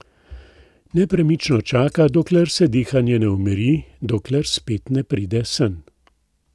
Nepremično čaka, dokler se dihanje ne umiri, dokler spet ne pride sen.